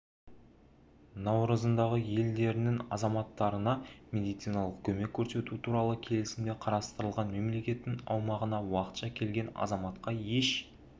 наурызындағы елдерінің азаматтарына медициналық көмек көрсету туралы келісімде қарастырылған мемлекеттің аумағына уақытша келген азаматқа еш